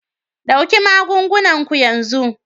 Ɗauki magungunan ku yanzu!